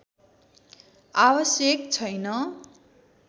आवश्यक छैन